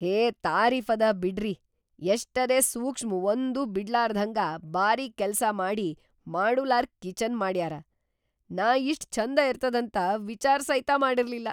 ಹೇ ತಾರೀಫದ ಬಿಡ್ರಿ, ಎಷ್ಟರೇ ಸೂಕ್ಷ್ಮ್ ಒಂದೂ ಬಿಡ್ಲಾರ್ದ್ಹಂಗ ಬಾರೀಕ್‌ ಕೆಲ್ಸಾ ಮಾಡಿ ಮಾಡುಲಾರ್‌ ಕಿಚನ್‌ ಮಾಡ್ಯಾರ! ನಾ ಇಷ್ಟ್ ಛಂದ ಇರ್ತದಂತ ವಿಚಾರ್ ಸೈತ ಮಾಡಿರ್ಲಿಲ್ಲಾ.